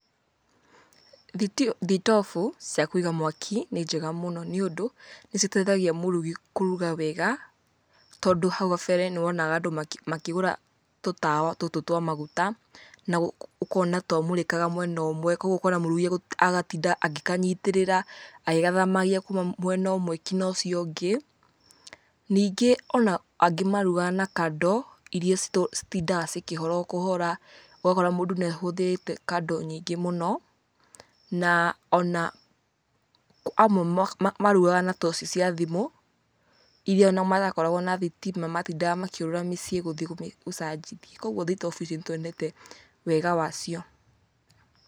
Thitobu cia kũiga mwaki nĩ njega mũno nĩ ũndũ nĩ citeithagia mũrũgi kũrũga wega, tondũ hau kabere nĩ wonaga andũ makĩgũra tũtawa tũtũ twa maguta, na ũkona twamũrikaga mwena ũmwe kogũo ũkona mũrugi agatinda agĩkanyitĩrĩra agĩgathamagia kuma mena ũmwe nginya ũcio ũngĩ ningĩ angĩ marugaga na kandoo ĩrĩa citindaga cikĩhora o kũhora ũgakora mũndũ nĩ ahũthĩrĩte kandoo nyingi muno na ona amwe marugaga na toci cia thimũ, ĩria matakoragwo na thitima matindaga makĩurura mĩciĩ gũthiĩ gucajia kogũo thitobu ici nĩ tuonete wega wacio.